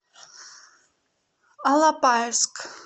алапаевск